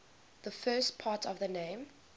the first part of the name